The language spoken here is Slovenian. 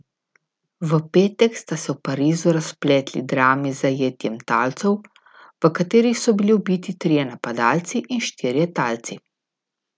V petek sta se v Parizu razpletli drami s zajetjem talcev, v katerih so bili ubiti trije napadalci in štirje talci.